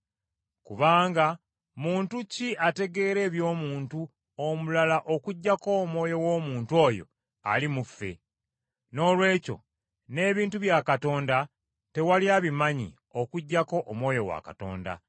Kubanga muntu ki ategeera eby’omuntu omulala okuggyako omwoyo w’omuntu oyo ali mu ffe? Noolwekyo n’ebintu bya Katonda tewali abimanyi okuggyako Omwoyo wa Katonda.